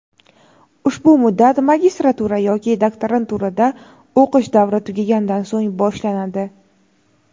ushbu muddat magistratura yoki doktoranturada o‘qish davri tugagandan so‘ng boshlanadi.